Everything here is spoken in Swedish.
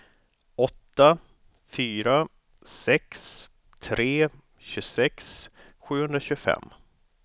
åtta fyra sex tre tjugosex sjuhundratjugofem